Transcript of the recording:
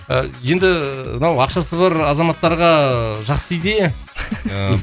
ы енді мынау ақшасы бар азаматтарға ыыы жақсы идея